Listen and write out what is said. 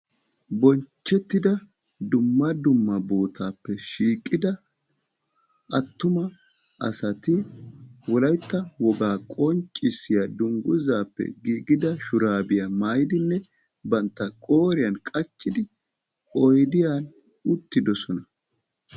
Bonchchettida dumma dumma bootaappe shiiqida attuma asati wolaytta wogaa qonccissiya dungguzaappe giigida shuraabiya maayidinne bantta qooriyan qachchidi oydiyan uttidosona.